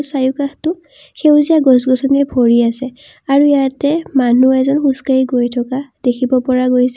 চাৰিওকাষটো সেউজীয়া গছ-গছনিৰে ভৰি আছে আৰু ইয়াতে মানুহ এজন খোজকাঢ়ি গৈ থকা দেখিব পৰা গৈছে।